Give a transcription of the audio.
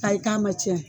Ayi k'a ma tiɲɛ